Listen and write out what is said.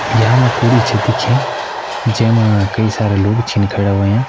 यमा कुड़ि छ दिखें जै मा कई सारा लोग छिन खड़ा होयां।